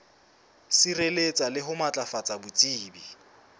sireletsa le ho matlafatsa botsebi